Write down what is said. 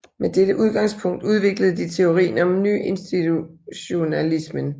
Med dette udgangspunkt udviklede de teorien om nyinstitutionalismen